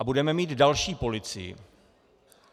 A budeme mít další policii.